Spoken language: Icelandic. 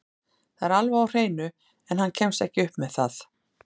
Það er alveg á hreinu, en hann kemst ekki upp með það.